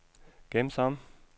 gem som